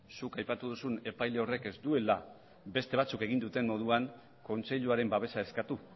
zuk aipatu duzun epaile horrek ez duela beste batzuk egin duten moduan kontseiluaren babesa eskatu